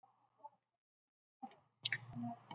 Hvers vegna verða svona mörg slys á þessum slóðum?